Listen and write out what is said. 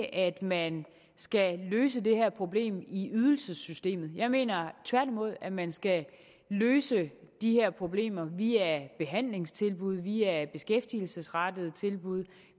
at man skal løse det her problem i ydelsessystemet jeg mener tværtimod at man skal løse de her problemer via behandlingstilbud via beskæftigelsesrettede tilbud